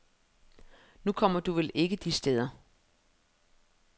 Nu kommer du vel ikke de steder.